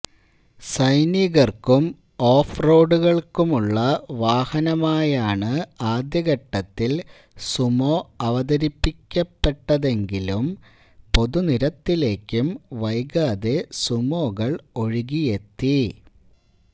സൈനികര്ക്കും off റോഡുകള്ക്കുമുള്ള വാഹനമായാണ് ആദ്യഘട്ടത്തില് സുമോ അവതരിപ്പിക്കപ്പെട്ടതെങ്കെിലും പൊതുനിരത്തിലേക്കും വൈകാതെ സുമോകള് ഒഴുകിയെത്തി